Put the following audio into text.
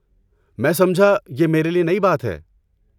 میں سمجھا، یہ میرے لیے نئی بات ہے۔